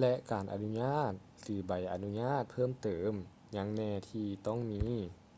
ແລະ ການອະນຸຍາດ ຫຼື ໃບອະນຸຍາດເພີ່ມເຕີມຫຍັງແນ່ທີ່ຕ້ອງມີ